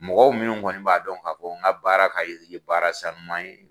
Mɔgɔw minnu kɔni b'a dɔn n ka baara ka baara sanuman ye.